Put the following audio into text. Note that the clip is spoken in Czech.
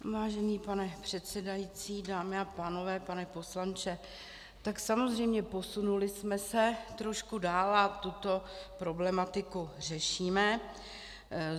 Vážený pane předsedající, dámy a pánové, pane poslanče, tak samozřejmě, posunuli jsme se trošku dál a tuto problematiku řešíme.